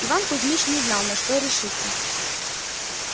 иван кузмич не знал на что решиться